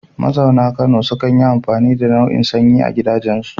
Mazauna Kano sukan yi amfani da na'urar sanyi a gidajensu.